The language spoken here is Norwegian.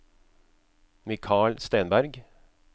Mikal Stenberg